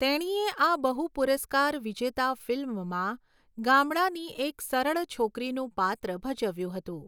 તેણીએ આ બહુ પુરસ્કાર વિજેતા ફિલ્મમાં ગામડાની એક સરળ છોકરીનું પાત્ર ભજવ્યું હતું.